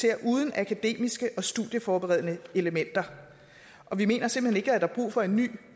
er uden akademiske og studieforberedende elementer vi mener simpelt hen ikke at der er brug for en ny